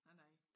Nej nej